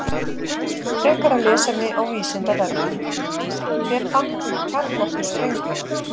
Frekara lesefni á Vísindavefnum: Hver fann upp kjarnorkusprengjuna?